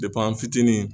an fitinin